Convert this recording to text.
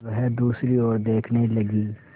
वह दूसरी ओर देखने लगी